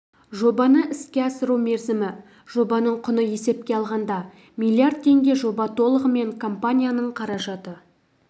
жобаны іске асыру мерзімі жобаның құны есепке алғанда миллиард теңге жоба толығымен компанияның қаражаты